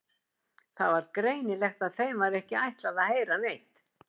Það var greinilegt að þeim var ekki ætlað að heyra neitt.